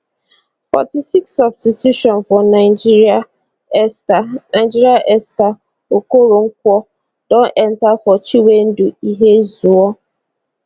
forty six substitution for nigeria esther nigeria esther okoronkwo don enta for chinwendu ihezuo